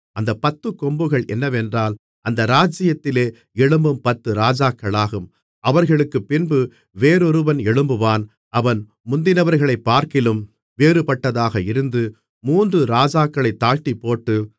அந்தப் பத்துக்கொம்புகள் என்னவென்றால் அந்த ராஜ்ஜியத்திலே எழும்பும் பத்து ராஜாக்களாகும் அவர்களுக்குப்பின்பு வேறொருவன் எழும்புவான் அவன் முந்தினவர்களைப்பார்க்கிலும் வேறுபட்டதாக இருந்து மூன்று ராஜாக்களைத் தாழ்த்திப்போட்டு